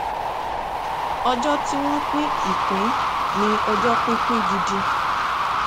ọjọ tí wọn pín ìpín ni ọjọ pípín gidi